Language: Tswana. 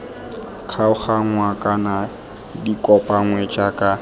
kgaoganngwa kana di kopanngwe jaaka